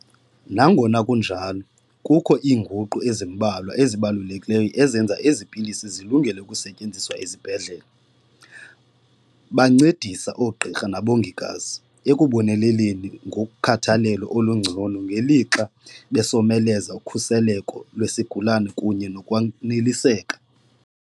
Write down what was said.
Nangona kunjalo, kukho iinguqu ezimbalwa ezibalulekileyo ezenza ezi pilisi zilungele ukusetyenziswa ezibhedlele. Bancedisa oogqirha nabongikazi ekuboneleleni ngokhathalelo olungcono ngelixa besomeleza ukhuseleko lwesigulana kunye nokwaneliseka.